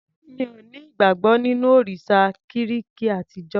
Mi ò ní ìgbàgbọ́ nínú òrìsà Gíríki àtijó.